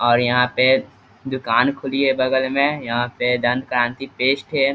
और यहां पे दुकान खुली है बगल में यहां पे दंत्कांति पेस्ट है।